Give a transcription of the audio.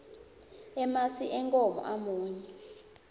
emasi enkhomo amunyu